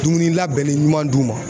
Dumuni labɛnnen ɲuman d'u ma.